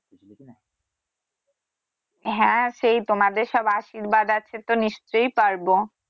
হ্যাঁ সেই তোমাদের সব আশীর্বাদ আছে তো নিশ্চয়ই পারবো